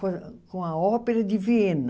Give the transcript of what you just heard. Com a ópera de Viena.